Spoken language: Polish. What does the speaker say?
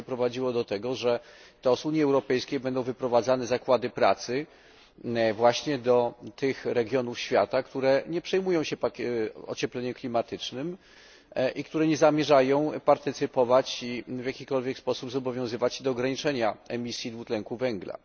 Będzie prowadziło do tego, że teraz z Unii Europejskiej będą wyprowadzane zakłady pracy właśnie do tych regionów świata, które nie przejmują się ociepleniem klimatycznym i które nie zamierzają partycypować ani w jakikolwiek sposób zobowiązywać się do ograniczenia emisji dwutlenku węgla.